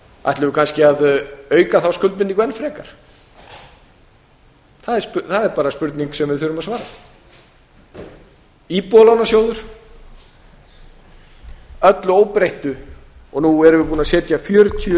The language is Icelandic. ætlum við kannski að auka þá skuldbindingu enn frekar það er bara spurning sem við þurfum að svara íbúðalánasjóður að öllu óbreyttu og nú erum við búin að setja fjörutíu